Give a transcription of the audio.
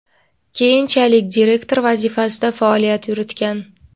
keyinchalik direktor vazifasida faoliyat yuritgan.